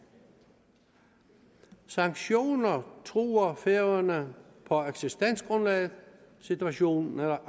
sanktioner truer færøerne på eksistensgrundlaget situationen er